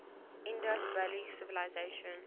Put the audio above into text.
indus valley civilisation